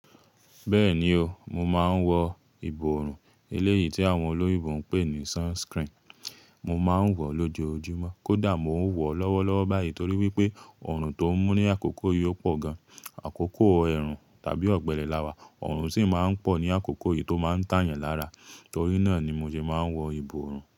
Bẹ́ẹ̀ni o, mo máa ń wọ ìbòòrùn, eléyìí tí àwọn olóyè ń pè ní sunskrini. Mo máa ń wọ̀ ọ́ lójoojúmọ́ kódà mo ń wọ̀ ọ́ lọ́wọ́lọ́wọ́ báyìí torí wípé ọrùn tó ń mú ní àkókò yìí pọ̀ gan. Àkókò ẹ̀rùn tàbí ọ̀gbẹlẹ̀ láwà, ọrùn sì máa ń pọ̀ ní àkókò yìí tó máa ń tà yẹn lára, torí náà ni mo sì máa ń wọ ìbòòrùn.